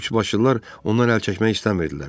Üçbaşlılar ondan əl çəkmək istəmirdilər.